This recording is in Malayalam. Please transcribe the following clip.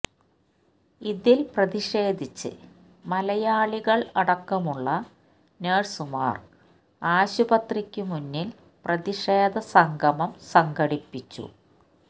ഇതില് പ്രതിഷേധിച്ച് മലയാളികള് അടക്കമുള്ള ന്ഴ്സുമാര് ആസ്പത്രിക്കു മുന്നില് പ്രതിഷേധസംഗമം സംഘടിപ്പിച്ചു